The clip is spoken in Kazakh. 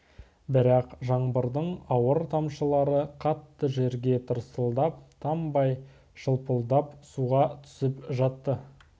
бірақ жаңбырдың ауыр тамшылары қатты жерге тырсылдап тамбай шылпылдап суға түсіп жатты